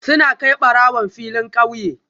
Suna kai barawon filin kauye